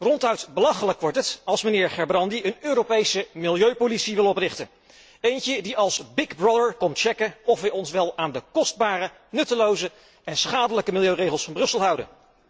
Ronduit belachelijk wordt het als de heer Gerbrandy een Europese milieupolitie wil oprichten, eentje die als big brother komt checken of wij ons wel aan de kostbare, nutteloze en schadelijke milieuregels van Brussel houden.